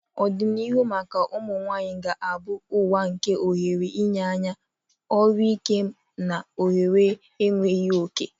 Ọdịnihu maka ụmụ nwanyị ga-abụ ụwa nke ohere nha anya, olu ike, na ohere enweghị oke.